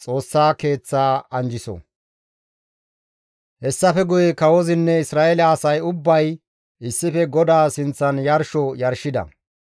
Hessafe guye kawozinne Isra7eele asay ubbay issife GODAA sinththan yarsho yarshida.